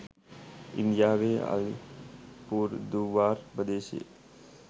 ඉන්දියාවේ අලිපුර්දුවාර් ප්‍රදේශයේ